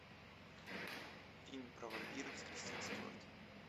фильм про вампиров с кристен стюарт